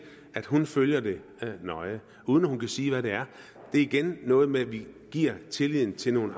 at hun følger det nøje uden at hun kan sige hvad det er det er igen noget med at vi viser tillid til nogle